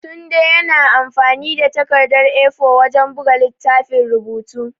Tunde yana amfani da takardar A4 wajen buga littafin rubutu.